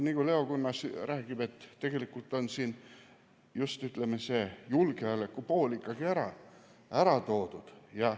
Nagu Leo Kunnas räägib, tegelikult on siin just see julgeoleku pool ikkagi ära toodud.